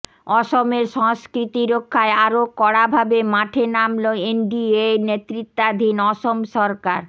অসমের সংস্কৃতি রক্ষায় আরও কড়া ভাবে মাঠে নামল এনডিএ নেতৃত্বাধীন অসম সরকার